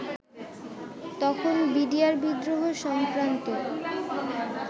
তখন বিডিআর বিদ্রোহ সংক্রান্ত